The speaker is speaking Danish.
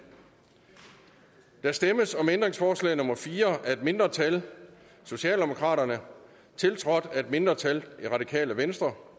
der stemmes om ændringsforslag nummer fire af et mindretal tiltrådt af et mindretal